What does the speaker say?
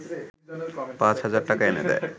পাঁচ হাজার টাকা এনে দেয়